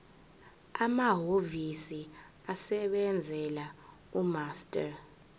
amahhovisi asebenzela umaster